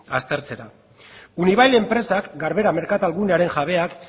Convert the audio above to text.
aztertzera unibail enpresak garbera merkatalgunearen jabeak